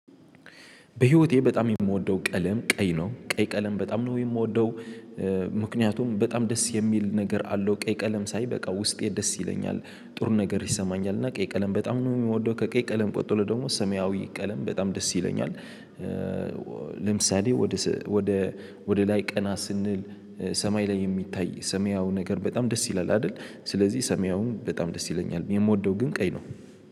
በህይወቴ በጣም የምወደው ቀለም ቀይ ነው ቀይ ቀለም በጣም ነው የምወደው። ምክንያቱም በጣም ደስ የሚል ነገር አለው ቀይ ቀለም ሳይ በቃ ውስጤ ደስ ይለኛል። ጥሩ ነገር ይሰማኛል እና ቀይ ቀለም በጣም ነው የሚወደው ከቀይ ቀጥሎ ደግሞ ሰማያዊ ቀለም በጣም ደስ ይለኛል። ለምሳሌ ወደ ወደ ወደ ላይ ቀና ስንል ሰማይ ላይ የሚታይ ሰማያው ነገር በጣም ደስ ይላል አይደል ስለዚህ ሰማያውን በጣም ደስ ይለኛል። የምወደው ግን ቀይ ነው።